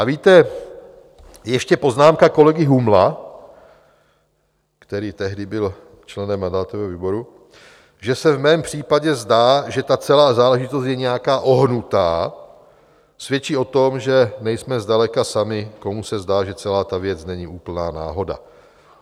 A víte, ještě poznámka kolegy Humla, který tehdy byl členem mandátového výboru, že se v mém případě zdá, že ta celá záležitost je nějaká ohnutá, svědčí o tom, že nejsme zdaleka sami, komu se zdá, že celá ta věc není úplná náhoda.